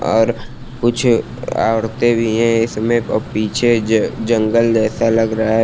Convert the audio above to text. और कुछ औरतें भी हैं इसमें अह पीछे जंगल जैसा लग रहा है।